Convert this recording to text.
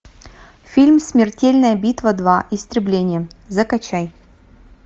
фильм смертельная битва два истребление закачай